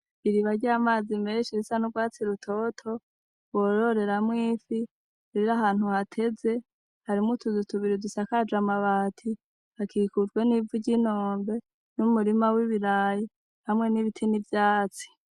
Iriba ry'amazi menshi risa n'urwatsi rutoto, bororeramwo ifi. Rero ahantu hateze, hariho utuzu tubiri dusakaje amabati, dukikujwe n'ivu ry'inombe, n'umurima w'ibiraya hamwe n'ibiti n'ivyatsi.